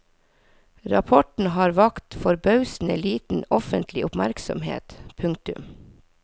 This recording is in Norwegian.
Rapporten har vakt forbausende liten offentlig oppmerksomhet. punktum